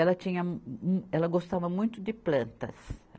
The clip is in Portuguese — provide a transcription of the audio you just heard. Ela tinha mu, ela gostava muito de plantas.